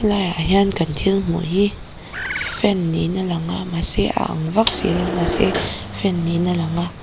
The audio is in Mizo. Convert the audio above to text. he laiah hian kan thil hmuh hi fan niin a lang a mahse a ang vak si lo a mahse fan niin a lang a.